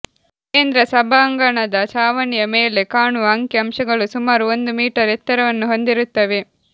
ಕೇಂದ್ರ ಸಭಾಂಗಣದ ಛಾವಣಿಯ ಮೇಲೆ ಕಾಣುವ ಅಂಕಿ ಅಂಶಗಳು ಸುಮಾರು ಒಂದು ಮೀಟರ್ ಎತ್ತರವನ್ನು ಹೊಂದಿರುತ್ತವೆ